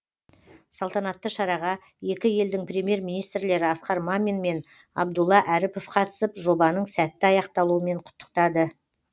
салтанатты шараға екі елдің премьер министрлері асқар мамин мен абдулла әріпов қатысып жобаның сәтті аяқталуымен құттықтады